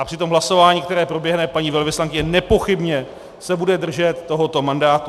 A při tom hlasování, které proběhne, paní velvyslankyně nepochybně se bude držet tohoto mandátu.